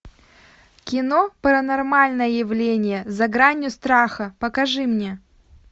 кино паранормальное явление за гранью страха покажи мне